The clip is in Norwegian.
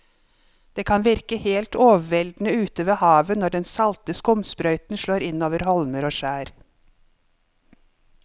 Det kan virke helt overveldende ute ved havet når den salte skumsprøyten slår innover holmer og skjær.